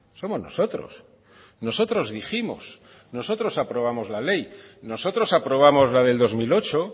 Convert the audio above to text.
somos nosotros nosotros dijimos nosotros aprobamos la ley nosotros aprobamos la del dos mil ocho